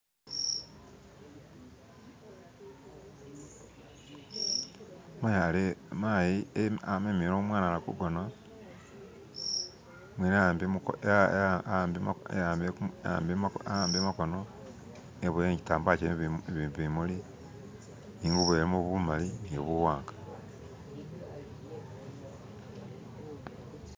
mayi amemele umwana ali kugona awambile makono eboyele kitambala kyilimu bimuli bilimu bumali nibuwanga